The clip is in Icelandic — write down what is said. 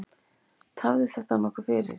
Tafði þetta nokkuð fyrir.